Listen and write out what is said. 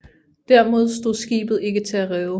Dermed stod skibet ikke til at redde